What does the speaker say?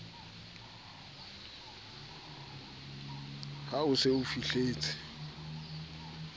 ha o se o fihletse